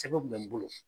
Sɛbɛn kun bɛ n bolo